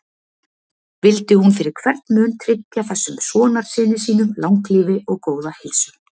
Vildi hún fyrir hvern mun tryggja þessum sonarsyni sínum langlífi og góða heilsu.